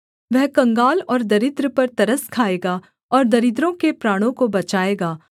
वह कंगाल और दरिद्र पर तरस खाएगा और दरिद्रों के प्राणों को बचाएगा